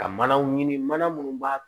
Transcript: Ka manaw ɲini mana minnu b'a